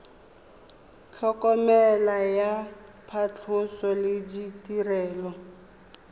tlhokomelo ya phatlhoso le ditirelo